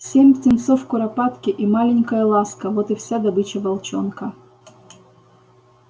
семь птенцов куропатки и маленькая ласка вот и вся добыча волчонка